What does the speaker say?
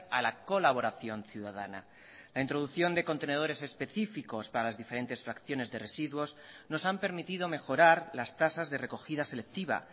a la colaboración ciudadana la introducción de contenedores específicos para las diferentes fracciones de residuos nos han permitido mejorar las tasas de recogida selectiva